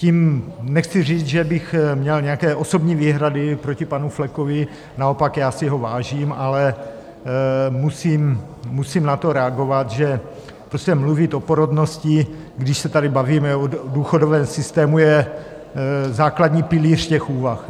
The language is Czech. Tím nechci říct, že bych měl nějaké osobní výhrady proti panu Flekovi, naopak, já si ho vážím, ale musím na to reagovat, že prostě mluvit o porodnosti, když se tady bavíme o důchodovém systému, je základní pilíř těch úvah.